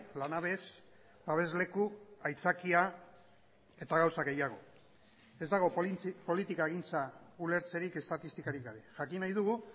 lanabes babesleku aitzakia eta gauza gehiago ez dago politikagintza ulertzerik estatistikarik gabe jakin nahi dugu